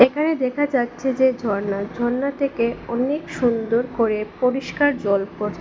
এখানে দেখা যাচ্ছে যে ঝর্না ঝর্না থেকে অনেক সুন্দর করে পরিষ্কার জল পড় --